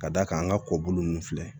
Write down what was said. Ka d'a kan an ka kɔbolo ninnu filɛ